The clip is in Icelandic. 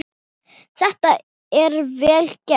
Þetta er vel gert.